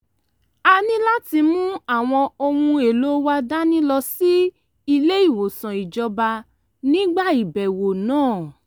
a ní láti mú àwọn ohun èlò wa dání lọ sí ilé-ìwòsàn ìjọba nígbà ìbẹ̀wò náà